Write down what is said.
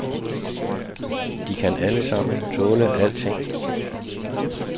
De kan alle sammen tåle alting.